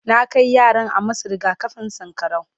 na Kai yaran a masu rigakafin sankarau